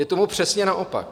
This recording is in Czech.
Je tomu přesně naopak.